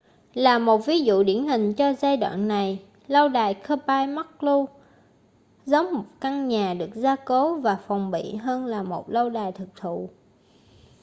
là một ví dụ điển hình cho giai đoạn này lâu đài kirby muxloe giống một căn nhà được gia cố và phòng bị hơn là một lâu đài thực thụ